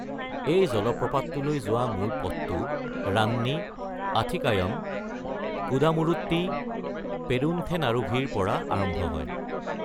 এই জলপ্ৰপাতটোলৈ যোৱা মূল পথটো ৰান্নী- আথিকায়ম- কুডামুৰুট্টি -পেৰুন্থেনাৰুভিৰ পৰা আৰম্ভ হয়।